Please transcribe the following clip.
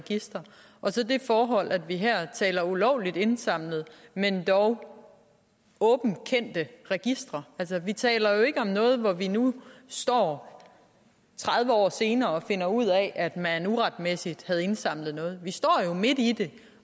registre og så det forhold at vi her taler om ulovligt indsamlede men dog åbent kendte registre altså vi taler ikke om noget hvor vi nu står tredive år senere og finder ud af at man uretmæssigt havde indsamlet noget vi står jo midt i det